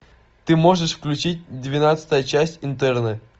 ты можешь включить двенадцатая часть интерны